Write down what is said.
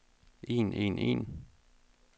en en en